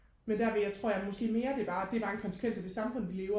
men der vil jeg tror jeg mere det bare det er en bare konsekvens af det samfund vi lever